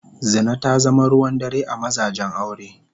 Zina ta zama ruwan dare a mazajen aure.